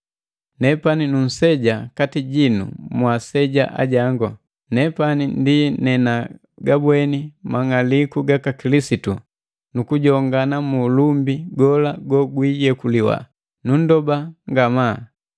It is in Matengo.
Nepani nunseja kati jinu mwaaseja ajangu, nepani ndi nenagabweni mang'aliku gaka Kilisitu nukujongana mu ulumbi gola gogwiyekuliwa, nundoba ngamaa,